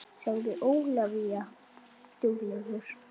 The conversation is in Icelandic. sagði Ólafía